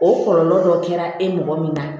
O kɔlɔlɔ dɔ kɛra e mɔgɔ min na